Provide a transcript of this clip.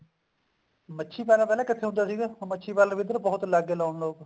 ਮੱਛੀ ਪਾਲਣ ਪਹਿਲਾਂ ਕਿੱਥੇ ਹੁੰਦਾ ਸੀ ਮੱਛੀ ਪਾਲਣ ਵੀ ਬਹੁਤ ਲਾਉਣ ਲੱਗਗੇ ਇੱਧਰ ਲੋਕ